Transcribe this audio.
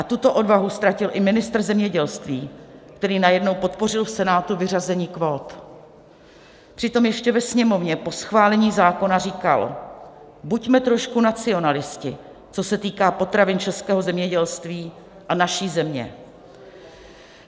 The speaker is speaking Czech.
A tuto odvahu ztratil i ministr zemědělství, který najednou podpořil v Senátu vyřazení kvót, přitom ještě ve Sněmovně po schválení zákona říkal: Buďme trošku nacionalisté, co se týká potravin, českého zemědělství a naší země.